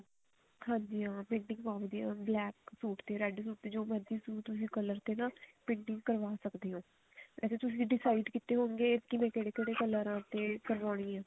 ਹਾਂਜੀ ਹਾਂ painting ਹੁੰਦੀ ਆ black ਸੂਟ ਤੇ red ਸੂਟ ਤੇ ਜੋ ਮਰਜ਼ੀ ਤੁਸੀਂ color ਤੇ paint ਕਰਵਾ ਸਕਦੇ ਹੋ ਵੇਸੇ ਤੁਸੀਂ decide ਕਿਤੇ ਹੋਣਗੇ ਕਿਵੇਂ ਕਿਹੜੇ ਕਿਹੜੇ color ਤੇ ਕਰਵਾਉਣੀ ਆ